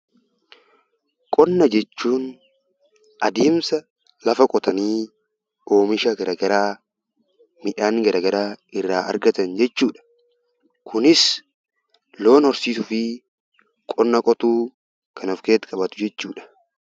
Qonnaa jechuun adeemsa lafa qotanii oomisha garagaraa irraa argatan jechuudha. Kunis lafa qotuu fi loon horsiisuudha.